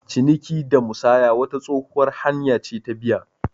Ciniki da musaya wata tsohuwar hanya ce ta biya.